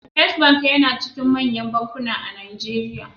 Fisrt bank yAna cikin manyan bankuna a nigeria